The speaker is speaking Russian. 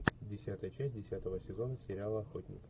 десятая часть десятого сезона сериала охотник